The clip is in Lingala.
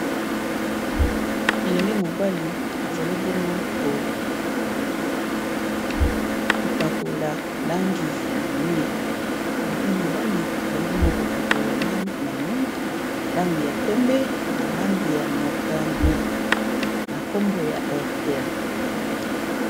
Elenge mobali azali bongo kopakola lange na mire, lange ya pembe na lange ya motane na nkombo ya airtel.